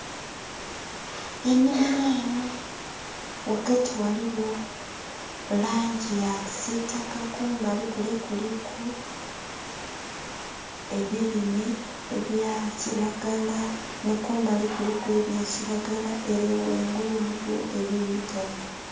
Enhimiro eno wagati waliwo langi ya kisitaka kumbali kule kuliku ebirime ebya kiragala ni kumbali kule kuliku ebya kiragala ere wangulu waliwo ebirugavu